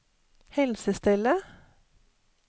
helsestellet